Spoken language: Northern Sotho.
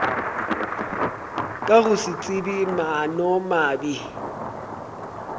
ka go se tsebe maanomabe